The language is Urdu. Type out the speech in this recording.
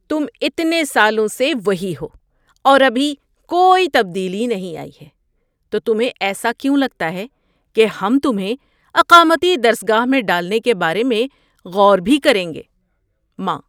تم اتنے سالوں سے وہی ہو اور ابھی کوئی تبدیلی نہیں آئی ہے، تو تمہیں ایسا کیوں لگتا ہے کہ ہم تمہیں اقامتی درس گاہ میں ڈالنے کے بارے میں غور بھی کریں گے؟ (ماں)